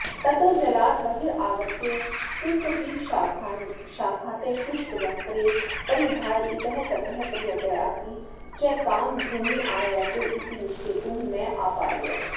ततो जलाद् बहिरागत्य तिन्तिडीशाखातः शुष्कवस्त्रे परिधाय इतस्ततः पर्यट्याऽपि च कां भूमिमायातौ इति निश्चेतुं नापारयाव